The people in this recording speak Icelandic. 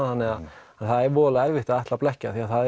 þannig að það er erfitt að blekkja því það